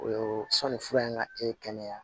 O ye sanni fura in ka kɛ kɛnɛya